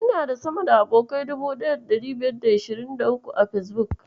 Ina da sama da abokanai 1523 a Fesbuk.